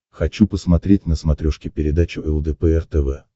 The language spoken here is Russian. хочу посмотреть на смотрешке передачу лдпр тв